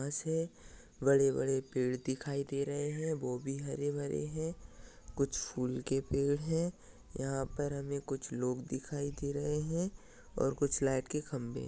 आसे बड़े बड़े पेड़ दिखाई दे रहे है। वो भी हरे भरे है। कुछ फुल के पेड़ है। यहा पर हमे कुछ लोग दिखाई दे रहे है। और कुछ लाइट के खंभे।